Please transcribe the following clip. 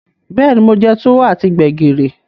Beeni, mo je Tuwo ati Gbẹ̀gìrì.